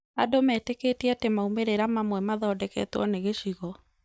Andũ metĩkĩtie atĩ maumĩrĩra mamwe mathondeketwo nĩ gĩcigo